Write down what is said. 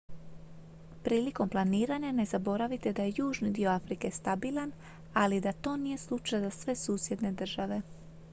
prilikom planiranja ne zaboravite da je južni dio afrike stabilan ali i da to nije slučaj za sve susjedne države